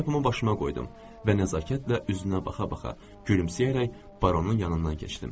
Şlyapamı başıma qoydum və nəzakətlə üzünə baxa-baxa gülümsəyərək Baronun yanından keçdim.